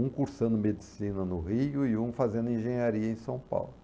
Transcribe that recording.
Um cursando medicina no Rio e um fazendo engenharia em São Paulo.